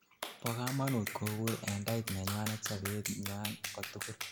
bo kamanut kobur en diet nenywanet sobet nywan kotugul